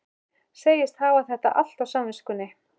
Segist hafa þetta allt á samviskunni.